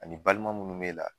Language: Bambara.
Ani balima munnu b'e la